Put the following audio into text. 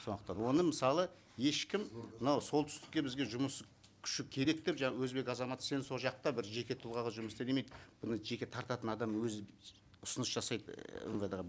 сондықтан оны мысалы ешкім мынау солтүстікке бізге жұмыс күші керек деп жаңа өзбек азаматы сен сол жақта бір жеке тұлғаға жұмыс істе демейді бұны жеке тартатын адам өзі ұсыныс жасайды і мвд ға